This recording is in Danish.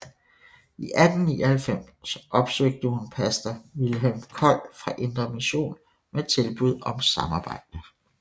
I 1899 opsøgte hun pastor Vilhelm Kold fra Indre Mission med tilbud om samarbejde